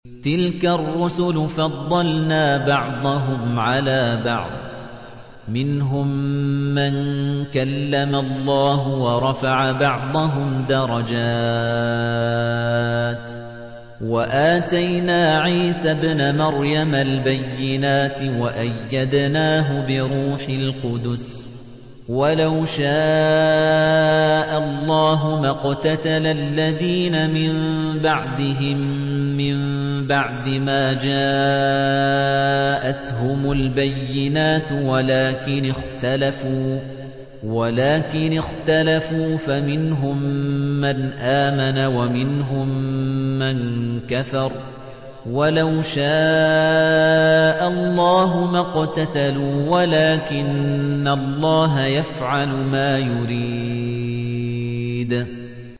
۞ تِلْكَ الرُّسُلُ فَضَّلْنَا بَعْضَهُمْ عَلَىٰ بَعْضٍ ۘ مِّنْهُم مَّن كَلَّمَ اللَّهُ ۖ وَرَفَعَ بَعْضَهُمْ دَرَجَاتٍ ۚ وَآتَيْنَا عِيسَى ابْنَ مَرْيَمَ الْبَيِّنَاتِ وَأَيَّدْنَاهُ بِرُوحِ الْقُدُسِ ۗ وَلَوْ شَاءَ اللَّهُ مَا اقْتَتَلَ الَّذِينَ مِن بَعْدِهِم مِّن بَعْدِ مَا جَاءَتْهُمُ الْبَيِّنَاتُ وَلَٰكِنِ اخْتَلَفُوا فَمِنْهُم مَّنْ آمَنَ وَمِنْهُم مَّن كَفَرَ ۚ وَلَوْ شَاءَ اللَّهُ مَا اقْتَتَلُوا وَلَٰكِنَّ اللَّهَ يَفْعَلُ مَا يُرِيدُ